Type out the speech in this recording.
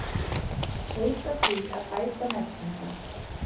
Heita því að bæta merkingar